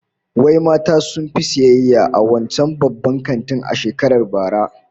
Wai mata suka fi sayayya a wancan babban kantin a shekarar bara?